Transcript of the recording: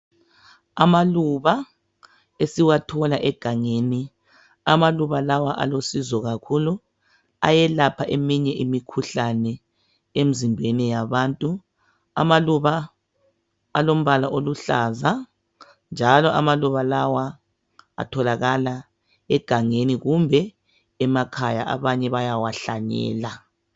Amaluba asiwathola egangeni amaluba lawa alosizo kakhulu ayelapha eminye imikhuhlane emzimbeni yabantu amaluba alombala oluhlaza njalo amaluba lawa atholakala egangeni kumbe emakhaya abanye bayawahlanyela.